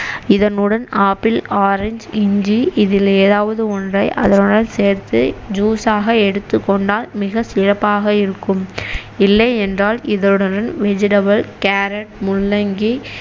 இதனுடன் apple, orange, இஞ்சி இதிலே ஏதாவது ஒன்றை அதனுடன் சேர்த்து juice ஆக எடுத்துக்கொண்டால் மிக சிறப்பாக இருக்கும் இல்லையென்றால் இதனுடன் vegetable கேரட், முள்ளங்கி